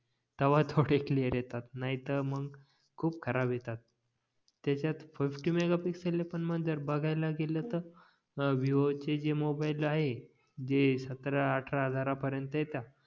तेव्हा थोडे क्लिअर येतात नाही तर मंग खूप कजाराब येतात त्याच्यात फोर्टी मेगापिक्सएल आहे पण जर बघायला गेलं तर विवो चे जे मोबाईल आहे जे सतरा अठरा हजारा पर्यंत येतात